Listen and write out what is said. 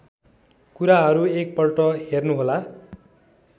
कुराहरू एकपल्ट हेर्नुहोला